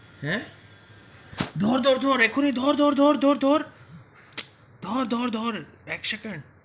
হ্যা ধর ধর এখনই ধর ধর ধর ধর ধর ধর ধর এক সেকেন্ড.